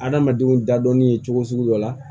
Adamadenw dadɔnni ye cogo sugu dɔ la